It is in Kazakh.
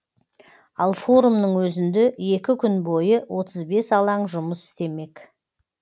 ал форумның өзінде екі күн бойы отыз бес алаң жұмыс істемек